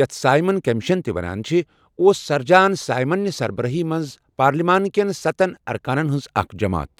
یَتھ Simon commission تہِ وانان چھِ، اوس سَر جان سایمن نہِ سربرٲہی منٛز پارلمان کٮ۪ن سَتن ارکانن ہٕنٛز اکھ جماعت۔